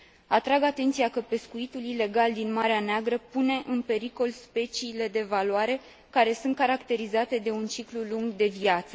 Atrag atenția că pescuitul ilegal din Marea Neagră pune în pericol speciile de valoare, care sunt caracterizate de un ciclu lung de viață.